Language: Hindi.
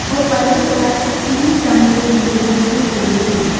ओ पलेट पर तीन चमचे भी रखे हुए है।